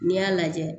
N'i y'a lajɛ